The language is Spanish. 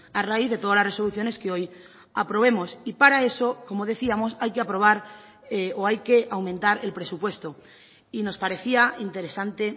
a raíz de todas las resoluciones que hoy aprobemos y para eso como decíamos hay que aprobar o hay que aumentar el presupuesto y nos parecía interesante